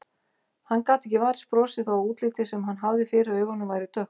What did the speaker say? Hann gat ekki varist brosi þó að útlitið sem hann hafði fyrir augunum væri dökkt.